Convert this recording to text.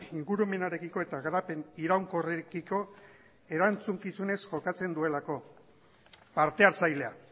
ingurumenarekiko eta garapen iraunkorrekiko erantzukizunez jokatzen duelako parte hartzailea